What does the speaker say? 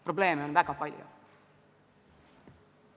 Probleeme on väga palju.